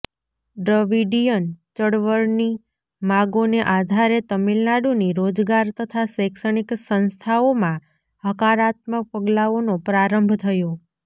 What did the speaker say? Dravidian ચળવળની માગોને આધારે તમિલનાડુની રોજગાર તથા શૈક્ષણિક સંસ્થાઓમાં હકારાત્મક પગલાઓનો પ્રારંભ થયો